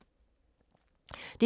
DR2